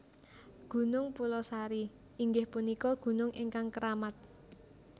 Gunung Pulosari inggih punika gunung ingkang keramat